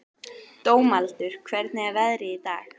Dómaldur, hvernig er veðrið í dag?